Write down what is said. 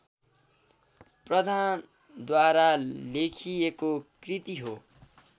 प्रधानद्वारा लेखिएको कृति हो